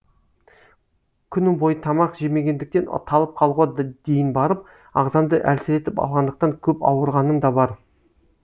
күні бойы тамақ жемегендіктен талып қалуға дейін барып ағзамды әлсіретіп алғандықтан көп ауырғаным да бар